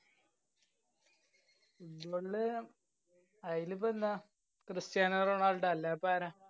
football ല് അയിനിപ്പോ എന്താ, ക്രിസ്റ്റ്യാനോ റൊണാള്‍ഡോ അല്ലാപ്പ ആരാ.